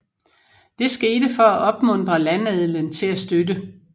Det skete for at opmuntre landadelen til at støtte